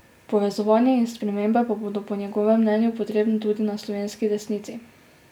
Povezovanje in spremembe pa bodo po njegovem mnenju potrebne tudi na slovenski desnici.